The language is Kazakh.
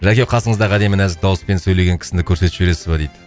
жәке қасыңыздағы әдемі нәзік дауыспен сөйлеген кісіні көрсетіп жібересіз ба дейді